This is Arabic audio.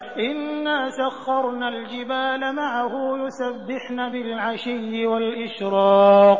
إِنَّا سَخَّرْنَا الْجِبَالَ مَعَهُ يُسَبِّحْنَ بِالْعَشِيِّ وَالْإِشْرَاقِ